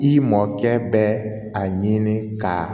I mɔkɛ bɛ a ɲini ka